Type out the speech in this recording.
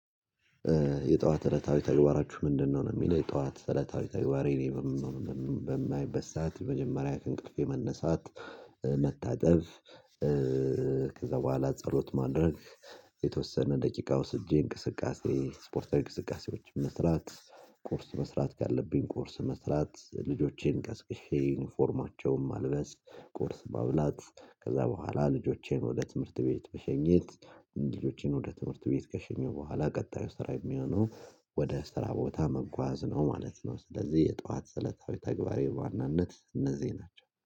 የጠዋት እለታዊ ተግባራችሁ ምንድነው? ነው የሚለው የጠዋት እለታዊ ተግባሬ እኔ በማይበት ሰዓት መጀመሪያ ከእንቅልፌ መነሳት። መታጠብ። ከዛ በኋላ ጸሎት ማድረግ። የተወሰነ ደቂቃ ወስጄ እንቅስቃሴ ስፖርታዊ እንቅስቃሴዎች መስራት። ቁርስ መስራት ካለብኝ ቁርስ መስራት ልጆቼን ቀስቅሼ ዩኒፎርማቸውም ማልበስ ቁርስ ማብላት ከዛ በኋላ ልጆቼን ወደ ትምህርት ቤት መሸኘች። ልጆቼን ወደ ትምህርት ቤት ከሸኘው በኋላ ቀጣዩ ስራ የሚሆነው። ወደ ስራ ቦታ መጓዝ ነው ማለት ነው። ስለዚህ የጧዋት ሰለታዊ ተግባራሬ በዋናነት እነዚህ ናቸው